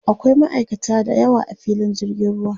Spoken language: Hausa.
akwai ma'aikata da yawa a filin jirgin ruwa